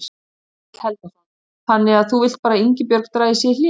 Egill Helgason: Þannig að þú vilt bara að Ingibjörg dragi sig í hlé?